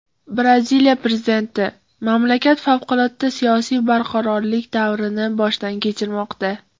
Braziliya prezidenti: mamlakat favqulodda siyosiy barqarorlik davrini boshdan kechirmoqda.